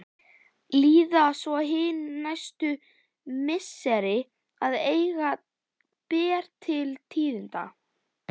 Líða svo hin næstu misseri að eigi ber til tíðinda.